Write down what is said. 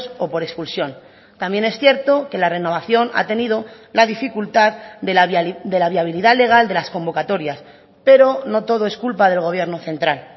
o por expulsión también es cierto que la renovación ha tenido la dificultad de la viabilidad legal de las convocatorias pero no todo es culpa del gobierno central